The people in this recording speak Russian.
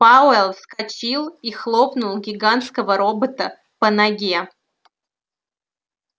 пауэлл вскочил и хлопнул гигантского робота по ноге